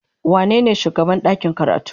Wanene shugaban ɗakin karatu?